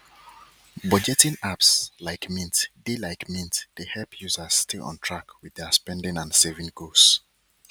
budgeting apps like mint dey like mint dey help users stay on track with their spending and saving goals